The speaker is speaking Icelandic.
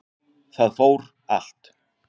Það fór allt